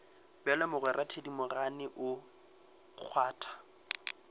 bjalo mogwera thedimogane o kgwatha